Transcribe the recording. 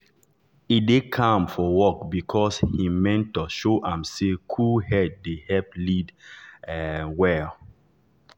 e dey calm for work because him mentor show am say cool head dey help lead um well.